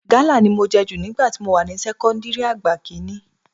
Gálà ni mo jẹ jù nígbà tí mo wà ní sẹ́kọ́ńdìrì àgbà kiie